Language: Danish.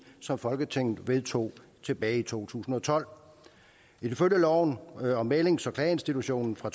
som folketinget vedtog tilbage i to tusind og tolv ifølge lov om mæglings og klageinstitutionen fra